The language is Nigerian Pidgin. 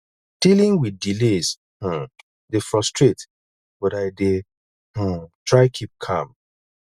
dealing with delays um dey frustrate but i dey um try keep calm